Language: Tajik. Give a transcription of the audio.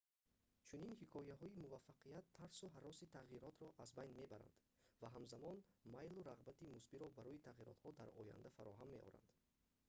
чунин ҳикояҳои муваффақият тарсу ҳароси тағйиротро аз байн мебаранд ва ҳамзамон майлу рағбати мусбиро барои тағиротҳо дар оянда фароҳам меоранд